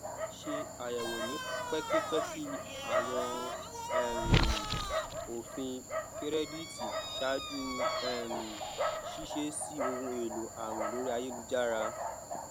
ṣe àyẹwò ní pẹkipẹki àwọn um òfin kírẹdítì ṣáájú um ṣíṣe sí ohun èlò àwìn lórí ayélujára